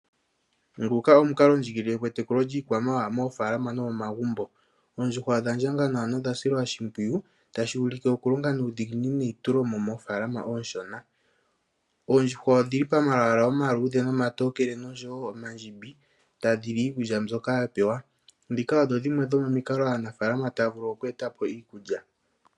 Nguka omuukalondjigilile gwetekulo lyiikwamawawa mofaalama nomomagumbo. Oondjuhwa odha ndjanga nawa na odha silwa oshimpwiyu, tashi ulike okulonga nuudhigini neitulemo moofaalama onshona. Oondjuhwa odhi li momalwaala omatokele, omaluudhe nomandjimbi tadhi li iikulya mbyoka dha pewa. Ndhoka odho dhimwe dhomomikalo omuwaanawa aanafaalama taya uvulu oku eta po iikulya.